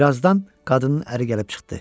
Birazdan qadının əri gəlib çıxdı.